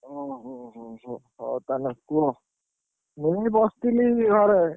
ଓ ହୋ ହୋ ହୋ ହଉ ତାହେଲେ କୁହ। ମୁଁ ବି ବସଥିଲି ଘରେ।